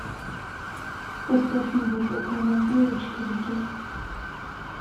поставь неглубокая могила четыре кей